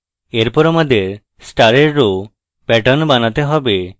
এরপর আমাদের star row pattern বানাতে have